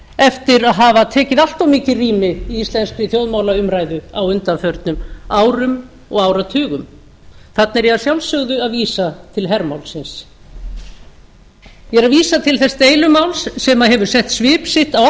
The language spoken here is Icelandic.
eftir að hafa tekið allt of mikið rými í íslenskri þjóðmálaumræðu á undanförnum árum og áratugum þarna er ég að sjálfsögðu að vísa til hermálsins ég er að vísa til þess deilumáls sem hefur sett svip sinn